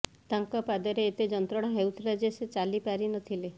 ତାଙ୍କ ପାଦରେ ଏତେ ଯନ୍ତ୍ରଣା ହୋଇଥିଲା ଯେ ସେ ଚାଲି ପାରି ନଥିଲେ